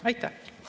Aitäh!